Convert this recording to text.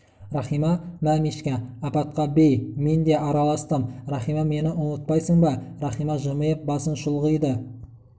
иахима мә мишка апатқа бей мен де араластым рахима мені ұмытпайсың ба рахима жымиып басын шұлғиды